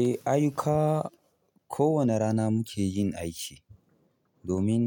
Eh, ayyuka ko wane rana muke yin aiki domin